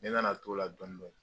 Ne nana to la dɔɔnin-dɔɔnin